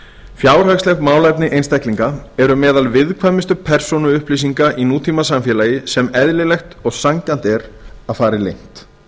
fjárhagsleg málefni einstaklinga eru meðal viðkvæmustu persónuupplýsinga í nútímasamfélagi sem eðlilegt og sanngjarnt er að fari leynt